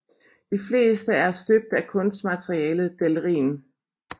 De fleste er støbt af kunstmaterialet delrin